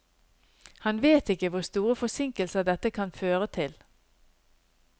Han vet ikke hvor store forsinkelser dette kan føre til.